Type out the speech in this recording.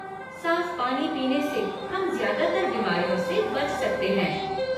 साफ़ पानी पीने से हम ज़्यादातर बीमारियों से बच सकते हैं।